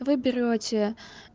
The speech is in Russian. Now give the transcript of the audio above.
вы берёте